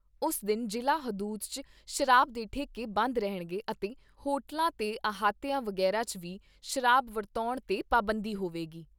ਉਸ ਦਿਨ ਜ਼ਿਲ੍ਹਾ ਹਦੂਦ 'ਚ ਸ਼ਰਾਬ ਦੇ ਠੇਕੇ ਬੰਦ ਰਹਿਣਗੇ ਅਤੇ ਹੋਟੇਲਾਂ ਤੇ ਅਹਾਤਿਆਂ ਵਗੈਰਾ 'ਚ ਵੀ ਸ਼ਰਾਬ ਵਰਤਾਉਣ ਤੇ ਪਾਬੰਦੀ ਹੋਵੇਗੀ।